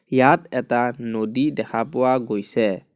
ইয়াত এটা নদী দেখা পোৱা গৈছে.